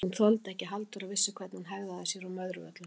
Hún þoldi ekki að Halldóra vissi hvernig hún hegðaði sér á Möðruvöllum!